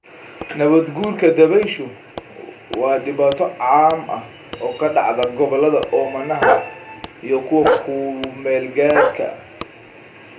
Nabaad-guurka dabayshu waa dhibaato caam ah oo ka dhacda gobollada oomanaha ah iyo kuwa ku-meel-gaadhka ah.